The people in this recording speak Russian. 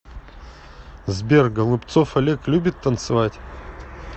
сбер голубцов олег любит танцевать